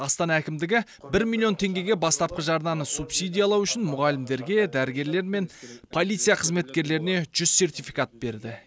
астана әкімдігі бір миллион теңгеге бастапқы жарнаны субсидиялау үшін мұғалімдерге дәрігерлер мен полиция қызметкерлеріне жүз сертификат берді